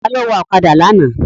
Ta ló wa ọ̀kadà lánàá?